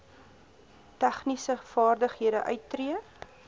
tegniese vaardighede uittree